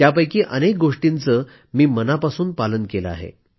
त्यापैकी अनेक आवाहनांचे मी मनापासून पालन केलं आहे